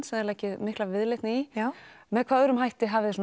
sem þið leggið mikla viðleitni í með hvaða öðrum hætti hafið þið